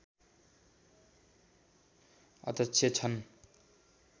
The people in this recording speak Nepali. अध्यक्ष छन्